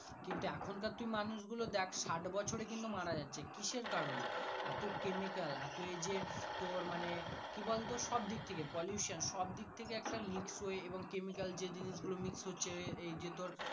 কিন্তু এখন কার তুই মানুষ দেখ সাট বছর কিন্তু মারা যাচ্ছে কিসের কারণ এ এত কেমিক্যাল এত এই যে তোর মানে pollution সব দিক থাকে একটা mix হয়েএবং chemical যে জিনিস গুলো mix হচ্ছে এই যে তোর।